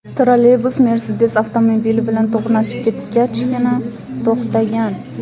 Trolleybus Mercedes avtomobili bilan to‘qnashib ketgachgina to‘xtagan.